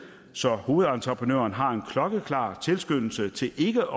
så hovedentreprenøren har en klokkeklar tilskyndelse til ikke